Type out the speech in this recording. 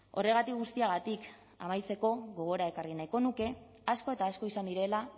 horregatik guztiagatik amaitzeko gogora ekarri nahiko nuke asko eta asko izan direla